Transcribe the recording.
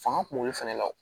Fanga kun b'olu fɛnɛ la o